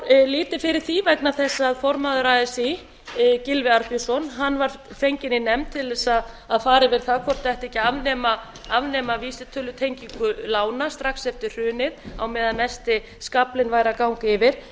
fór lítið fyrir því vegna þess að formaður así gylfi arnbjörnsson var fenginn í nefnd til þess að fara yfir það hvort ætti ekki að afnema vísitölutengingu lána strax eftir hrunið á meðan mesti skaflinn væri að ganga yfir